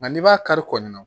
Nka n'i b'a kari kɔɔna na